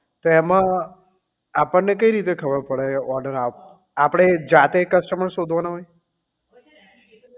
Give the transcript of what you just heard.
તો એમાં આપણને કેવી રીતે ખબર પડે order આવે તો આપડે જાતે customer શોધવાના હોય